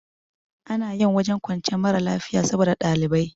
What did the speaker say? Ana yin wajen kwanciyar mara lafiya saboda ɗalibai